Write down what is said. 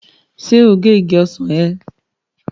Ṣé o gé igi ọsàn ẹ?